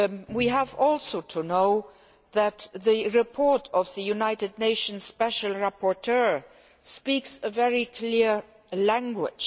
We should also know that the report of the United Nations special rapporteur speaks a very clear language.